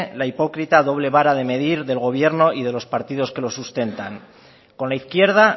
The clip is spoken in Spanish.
la hipócrita doble vara de medir del gobierno y de los partidos que los sustentan con la izquierda